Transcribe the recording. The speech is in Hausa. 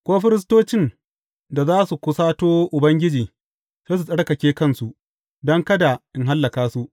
Ko firistocin da za su kusato Ubangiji sai su tsarkake kansu, don kada in hallaka su.